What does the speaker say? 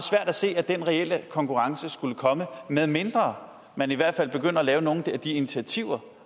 at se at den reelle konkurrence skulle komme medmindre man i hvert fald begynder at lave nogle af de initiativer